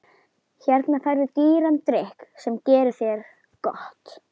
Hérna færðu dýran drykk sem gerir þér gott.